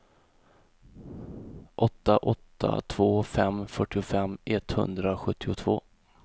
åtta åtta två fem fyrtiofem etthundrasjuttiotvå